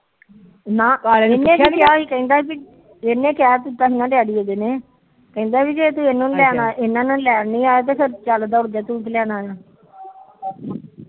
ਨਾ ਇਹਨੇ ਕਹਿ ਦਿੱਤਾ ਸੀ ਨਾ ਡੇਡੀ ਇਹਦੇ ਨੇ ਕਹਿੰਦਾ ਜੇ ਤੂੰ ਇਹਨਾ ਨੂੰ ਲੈਣ ਨੀ ਆਇ ਇਹਨਾ ਨੂੰ ਲੈਣ ਨੀ ਆਇਆ ਚੱਲ ਦੋੜ ਜਾ ਫਿਰ ਤੂੰ ਕੀ ਲੈਣ ਆਇਆ